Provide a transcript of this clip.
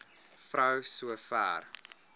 vrou so ver